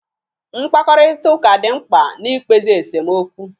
Mkparịtaụka dị mkpa na-ikpezi esomokwu